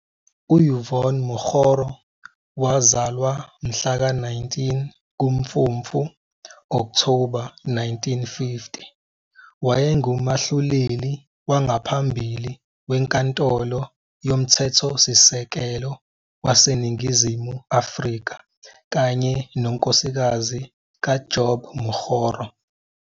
U-Yvonne Mokgoro, wazalwa mhla ka 19 kuMfumfu - Okthoba 1950, wayengumahluleli wangaphambili weNkantolo yoMthethosisekelo waseNingizimu Afrika kanye nonkosikazi kaJob Mokgoro.